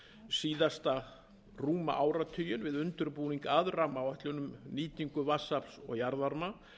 síðasta rúma áratuginn við undirbúning að rammaáætlunum um nýtingu vatnsafls og jarðvarma